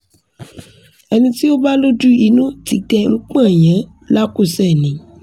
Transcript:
ẹni ti o ba loju inu ti dẹ panyẹn lakusẹ ni